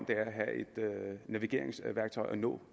at have et navigeringsværktøj og nå